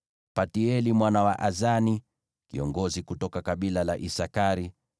Paltieli mwana wa Azani, kiongozi kutoka kabila la Isakari;